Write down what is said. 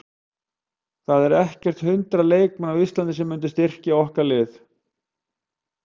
Það eru ekkert hundrað leikmenn á Íslandi sem myndu styrkja okkar lið.